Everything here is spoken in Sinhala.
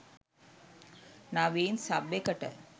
නවීන් සබ් එකට.